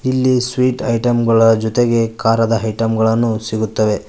ಇಲ್ಲಿ sweet item ಗಳ ಜೊತೆಗೆ ಖಾರದ ಐಟಂ ಗಳನ್ನು ಸಿಗುತ್ತವೆ.